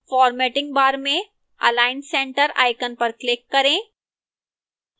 formatting bar में align center icon पर click करें